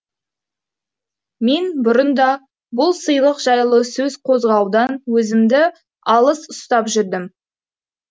мен бұрын да бұл сыйлық жайлы сөз қозғаудан өзімді алыс ұстап жүрдім